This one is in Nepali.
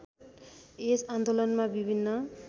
यस आन्दोलनमा विभिन्न